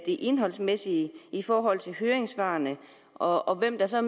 det indholdsmæssige i forhold til høringssvarene og og hvem der så